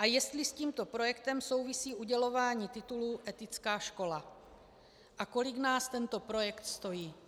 A jestli s tímto projektem souvisí udělování titulu "etická škola" a kolik nás tento projekt stojí.